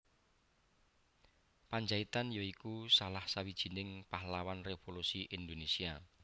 Pandjaitan ya iku salah sawijining pahlawan revolusi Indonésia